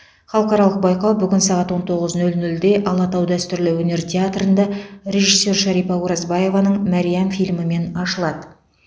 халықаралық байқау бүгін сағат он тоғыз нөл нөлде алатау дәстүрлі өнер театрында режиссер шарипа оразбаеваның мәриам фильмімен ашылады